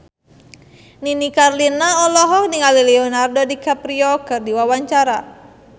Nini Carlina olohok ningali Leonardo DiCaprio keur diwawancara